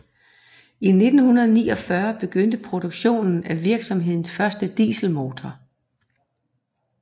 I 1949 begyndte produktionen af virksomhedens første dieselmotor